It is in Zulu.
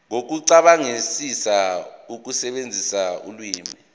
nokucabangisisa ukusebenzisa ulimi